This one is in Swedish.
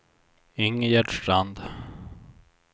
Ingegerd Strand